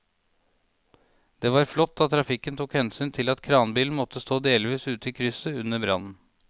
Det var flott at trafikken tok hensyn til at kranbilen måtte stå delvis ute i krysset under brannen.